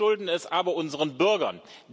Wir schulden es aber unseren Bürgern.